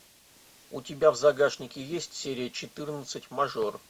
у тебя в загашнике есть серия четырнадцать мажор